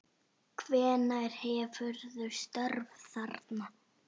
Hvenær hefurðu störf þarna?